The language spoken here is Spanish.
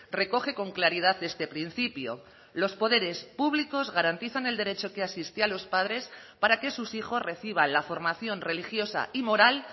recoge con claridad este principio los poderes públicos garantizan el derecho que asiste a los padres para que sus hijos reciban la formación religiosa y moral